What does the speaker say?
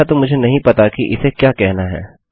अच्छा तो मुझे नहीं पता कि इसे क्या कहना है